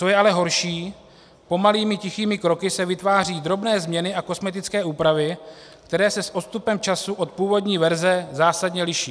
Co je ale horší, pomalými tichými kroky se vytváří drobné změny a kosmetické úpravy, které se s odstupem času od původní verze zásadně liší.